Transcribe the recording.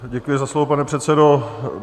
Děkuji za slovo, pane předsedo.